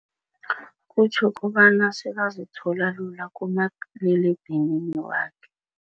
Kutjho kobana sekazithola lula kumaliledinini wakhe.